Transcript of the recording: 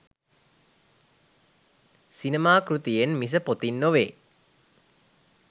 සිනමා කෘතියෙන් මිස පොතින් නොවේ.